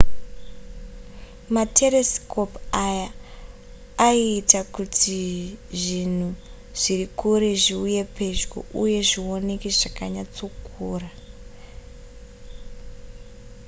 materesikopu aya aiita kuti zvinhu zviri kure zviuye pedyo uye zvioneke zvakanyatsokura